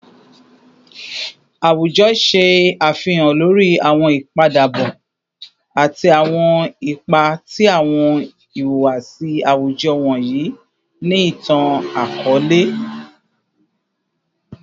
Awujọ ṣe afihan lori awọn ipadabọ ati awọn ipa ti awọn ihuwasi awujọ wọnyi ni itan-akọọlẹ